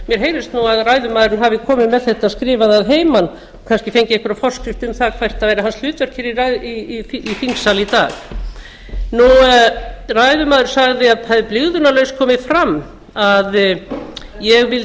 mér heyrist nú að ræðumaðurinn hafi komið með þetta skrifað að heiman kannski fengið einhverja forskrift um hvert væri hans hlutverk hér í þingsal í dag ræðumaður sagði að það hefði blygðunarlaust komið fram að ég